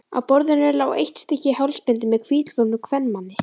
Á borðinu lá eitt stykki hálsbindi með hvítklæddum kvenmanni.